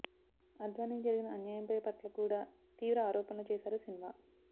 అద్వానికి జరిగిన అన్యాయంపై పట్ల కూడా తీవ్ర ఆరోపణలు చేశారు సిన్హా